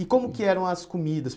E como que eram as comidas?